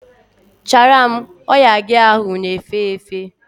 Chara m! Oya gị ahụ na efe efe!